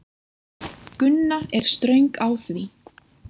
Gunna er ströng á því.